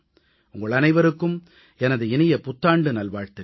உங்கள் அனைவருக்கும் எனது இனிய புத்தாண்டு நல்வாழ்த்துக்கள்